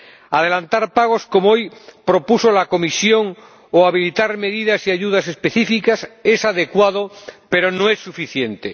Adelantar pagos ―como hoy ha propuesto la Comisión― o habilitar medidas y ayudas específicas es adecuado, pero no es suficiente.